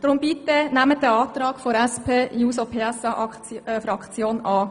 Deshalb nehmen Sie bitte diesen Antrag der SPJUSO-PSA-Fraktion an.